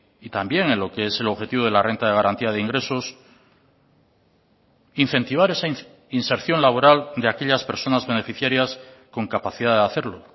y también en lo que es el objetivo de la renta de garantía de ingresos incentivar esa inserción laboral de aquellas personas beneficiarias con capacidad de hacerlo